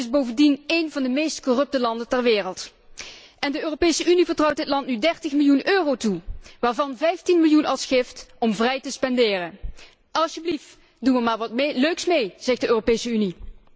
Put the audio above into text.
Het is bovendien een van de meest corrupte landen ter wereld. En de Europese Unie vertrouwt dit land nu 30 miljoen euro toe, waarvan 15 miljoen als gift om vrij te spenderen. Alsjeblieft, doe er maar wat leuks mee, zegt de Europese Unie!